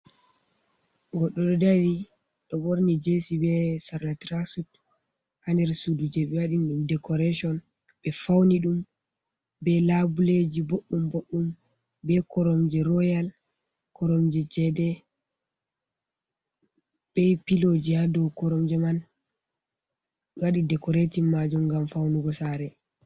Goɗɗo ɗo dari ɗo borni jesi be sarla traksud ha nder sudu je ɓe waɗi dekoretion be fauni ɗum be labuleji boɗɗum boɗdum be koromje royal koromje cede be piloji ha dow koromje man waɗi dekoretin majum ngam faunugo sare.